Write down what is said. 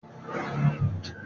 Irú aṣọ wo ni Ojo wọ̀?